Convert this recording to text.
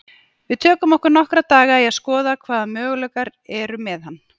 Við tökum okkur nokkra daga í að skoða hvaða möguleikar eru með hann.